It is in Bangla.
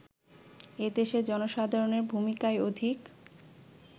এদেশের জনসাধারণের ভূমিকাই অধিক